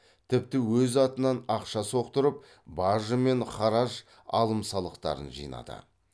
тіпті өз атынан ақша соқтырып бажы мен хараж алым салықтарын жинады